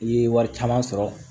I ye wari caman sɔrɔ